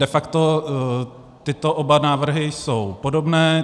De facto tyto oba návrhy jsou podobné.